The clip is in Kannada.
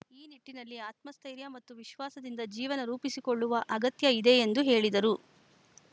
ಈ ನಿಟ್ಟಿನಲ್ಲಿ ಆತ್ಮಸ್ಥೆತ್ರೖರ್ಯ ಮತ್ತು ವಿಶ್ವಾಸದಿಂದ ಜೀವನ ರೂಪಿಸಿಕೊಳ್ಳುವ ಅಗತ್ಯ ಇದೆ ಎಂದು ಹೇಳಿದರು